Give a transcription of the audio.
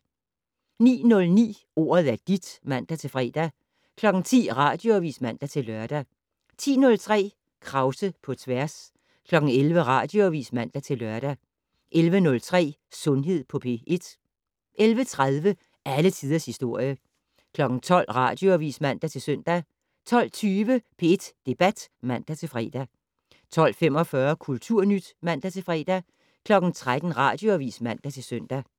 09:09: Ordet er dit (man-fre) 10:00: Radioavis (man-lør) 10:03: Krause på tværs 11:00: Radioavis (man-lør) 11:03: Sundhed på P1 11:30: Alle tiders historie 12:00: Radioavis (man-søn) 12:20: P1 Debat (man-fre) 12:45: Kulturnyt (man-fre) 13:00: Radioavis (man-søn)